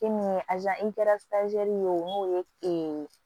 E min ye ye o mun ye e